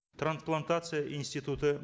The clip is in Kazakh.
трансплантация институты